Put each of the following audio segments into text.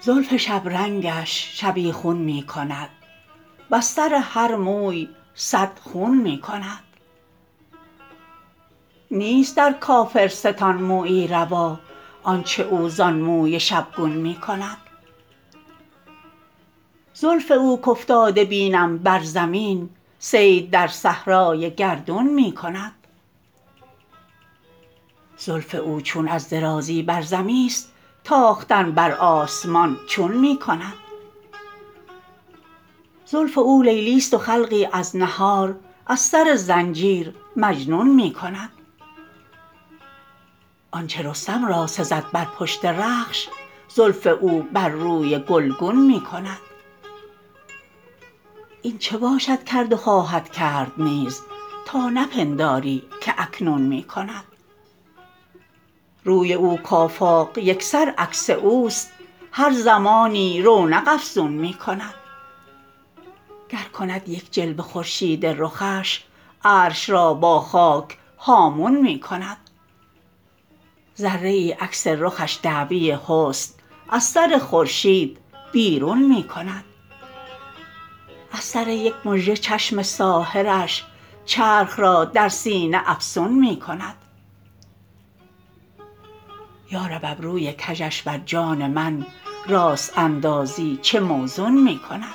زلف شبرنگش شبیخون می کند وز سر هر موی صد خون می کند نیست در کافرستان مویی روا آنچه او زان موی شبگون می کند زلف او کافتاده بینم بر زمین صید در صحرای گردون می کند زلف او چون از درازی بر زمین است تاختن بر آسمان چون می کند زلف او لیلی است و خلقی از نهار از سر زنجیر مجنون می کند آنچه رستم را سزد بر پشت رخش زلف او بر روی گلگون می کند این چه باشد کرد و خواهد کرد نیز تا نپنداری که اکنون می کند روی او کافاق یکسر عکس اوست هر زمانی رونق افزون می کند گر کند یک جلوه خورشید رخش عرش را با خاک هامون می کند ذره ای عکس رخش دعوی حسن از سر خورشید بیرون می کند از سر یک مژه چشم ساحرش چرخ را در سینه افسون می کند یارب ابروی کژش بر جان من راست اندازی چه موزون می کند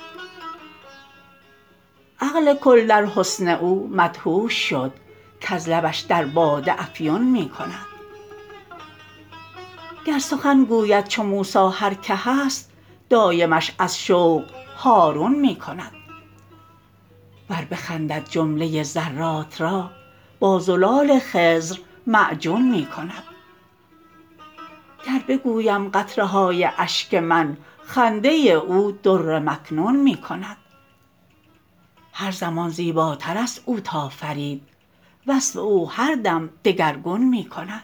عقل کل در حسن او مدهوش شد کز لبش در باده افیون می کند گر سخن گوید چو موسی هر که هست دایمش از شوق هارون می کند ور بخندد جمله ذرات را با زلال خضر معجون می کند گر بگویم قطره های اشک من خنده او در مکنون می کند هر زمان زیباتر است او تا فرید وصف او هر دم دگرگون می کند